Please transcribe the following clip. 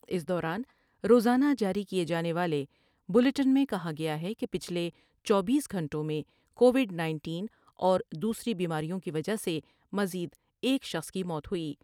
اس دوران روزانہ جاری کئے جانے والے بلیٹن میں کہا گیا کہ پچھلے چوبیس گھنٹوں میں کو ڈ انیس اور دوسری بیماریوں کی وجہ سے مز یدا ایک شخص کی موت ہوئی ۔